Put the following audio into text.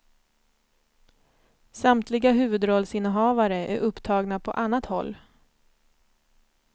Samtliga huvudrollsinnehavare är upptagna på annat håll.